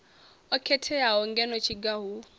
o khetheaho ngeno tshiga hu